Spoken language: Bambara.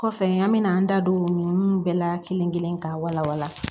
Kɔfɛ an me na an da don nunnu bɛɛ la kelen kelen ka wala wala